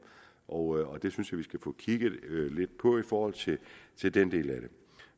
og det synes jeg at vi skal få kigget lidt på i forhold til til den del af det